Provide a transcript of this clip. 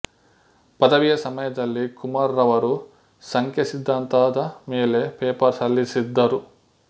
ಪದವಿಯ ಸಮಯದಲ್ಲಿ ಕುಮಾರ್ ರವರು ಸಂಖ್ಯೆ ಸಿದ್ದಾಂತದ ಮೇಲೆ ಪೇಪರ್ ಸಲ್ಲಿಸಿದ್ದರು